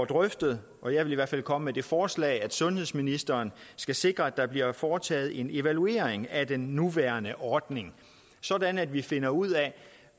drøftet og jeg vil i hvert fald komme med det forslag at sundhedsministeren skal sikre der bliver foretaget en evaluering af den nuværende ordning sådan at vi finder ud af